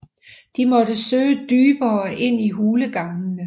De måtte søge dybere ind i hulegangene